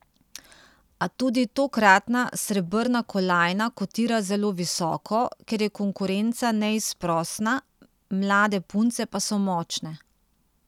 A tudi tokratna srebrna kolajna kotira zelo visoko, ker je konkurenca neizprosna, mlade punce pa so močne.